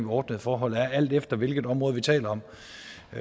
ordnede forhold er alt efter hvilket område vi taler om